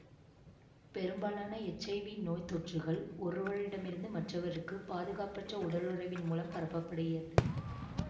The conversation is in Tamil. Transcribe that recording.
பெரும்பாலான எச் ஐ வி நோய்த்தொற்றுக்கள் ஒருவரிடமிருந்து மற்றவருக்கு பாதுகாப்பற்ற உடலுறவின் மூலம் பரப்பப்படுகிறது